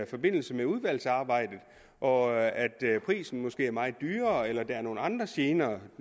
forbindelse med udvalgsarbejdet og at prisen måske er meget højere eller at der er nogle andre gener